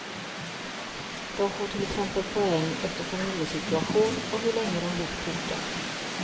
De får till exempel poäng efter familjesituation och hur länge de bott på orten.